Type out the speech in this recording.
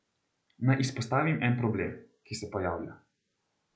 Naj izpostavim en problem, ki se pojavlja.